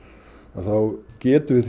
þá getum við